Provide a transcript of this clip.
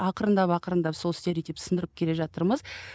арырындап ақырындап сол стереотипті сындырып келе жатырмыз